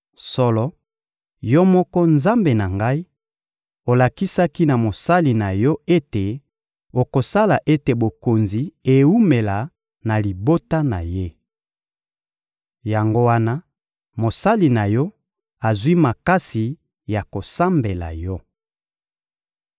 Solo, Yo moko, Nzambe na ngai, olakisaki na mosali na Yo ete okosala ete bokonzi ewumela na libota na ye. Yango wana mosali na Yo azwi makasi ya kosambela Yo.